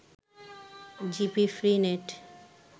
GP free net